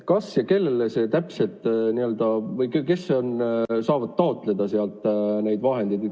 Kes saavad sealt vahendeid taotleda?